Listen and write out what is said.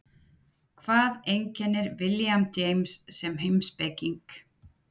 Hvað einkennir William James sem heimspeking?